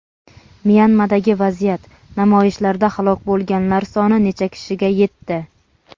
Myanmadagi vaziyat: namoyishlarda halok bo‘lganlar soni necha kishiga yetdi?.